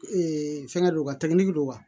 fɛngɛ don wa don wa